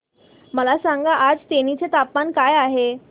मला सांगा आज तेनी चे तापमान काय आहे